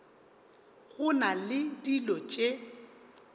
go na le dilo tše